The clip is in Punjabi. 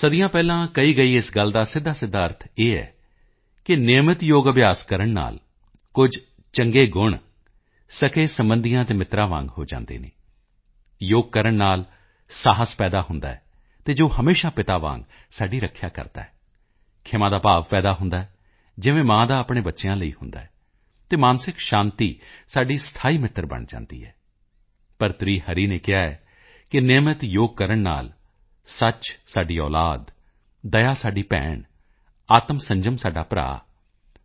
ਸਦੀਆਂ ਪਹਿਲਾਂ ਕਹੀ ਗਈ ਇਸ ਗੱਲ ਦਾ ਸਿੱਧਾਸਿੱਧਾ ਅਰਥ ਹੈ ਕਿ ਨਿਯਮਿਤ ਯੋਗ ਅਭਿਆਸ ਕਰਨ ਨਾਲ ਕੁਝ ਚੰਗੇ ਗੁਣ ਸਕੇਸਬੰਧੀਆਂ ਅਤੇ ਮਿੱਤਰ੍ਹਾਂ ਵਾਂਗ ਹੋ ਜਾਂਦੇ ਹਨ ਯੋਗ ਕਰਨ ਨਾਲ ਸਾਹਸ ਪੈਦਾ ਹੁੰਦਾ ਹੈ ਅਤੇ ਜੋ ਹਮੇਸ਼ਾ ਪਿਤਾ ਵਾਂਗ ਸਾਡੀ ਰੱਖਿਆ ਕਰਦਾ ਹੈ ਖ਼ਿਮਾਂ ਦਾ ਭਾਵ ਪੈਦਾ ਹੁੰਦਾ ਹੈ ਜਿਵੇਂ ਮਾਂ ਆਪਣੇ ਬੱਚਿਆਂ ਲਈ ਹੁੰਦੀ ਹੈ ਅਤੇ ਮਾਨਸਿਕ ਸ਼ਾਂਤੀ ਸਾਡੀ ਸਥਾਈ ਮਿੱਤਰ ਬਣ ਜਾਂਦੀ ਹੈ ਭਰਤਰੀ ਹਰੀ ਨੇ ਕਿਹਾ ਹੈ ਕਿ ਨਿਯਮਿਤ ਯੋਗ ਕਰਨ ਨਾਲ ਸੱਚ ਸਾਡੀ ਔਲਾਦ ਦਇਆ ਸਾਡੀ ਭੈਣ ਆਤਮਸੰਜਮ ਸਾਡਾ ਭਰਾ